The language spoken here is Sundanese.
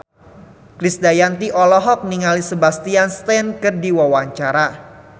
Krisdayanti olohok ningali Sebastian Stan keur diwawancara